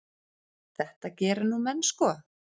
Þetta gera nú menn sko.